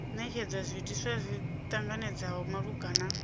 netshedzwa zwiitisi zwi ṱanganedzeaho malugana